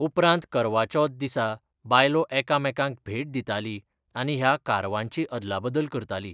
उपरांत करवा चौथ दिसा बायलो एकामेकांक भेट दिताली आनी ह्या कारवांची अदलाबदल करताली.